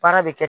Baara bɛ kɛ